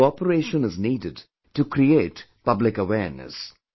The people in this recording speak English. Your cooperation is needed to create public awareness